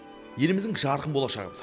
еліміздің жарқын болшағымыз